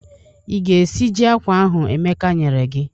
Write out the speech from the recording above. Ị ga-esiji akwa ahụ Emeka nyere gị?